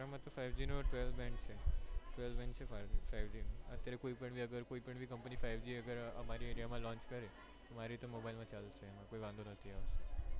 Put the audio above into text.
five g નો twelve band છે twelve band છે five g નો અત્યારે કોઈ પણ ભી company five g અમારી area માં launch કરે તો મારી રીતે mobile માં ચાલુ છે કોઈ વાંધો નથી આવશે